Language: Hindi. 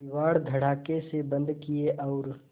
किवाड़ धड़ाकेसे बंद किये और